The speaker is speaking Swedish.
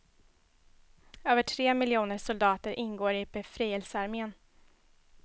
Över tre miljoner soldater ingår i befrielsearmén.